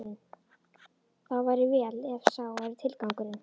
Þá væri vel, ef sá væri tilgangurinn.